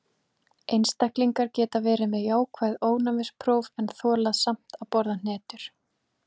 Einstaklingar geta verið með jákvæð ofnæmispróf en þolað samt að borða hnetur.